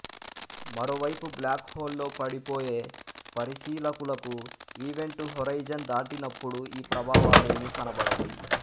మరోవైపు బ్లాక్ హోల్లో పడిపోయే పరిశీలకులకు ఈవెంట్ హొరైజన్ దాటినప్పుడు ఈ ప్రభావాలేమీ కనబడవు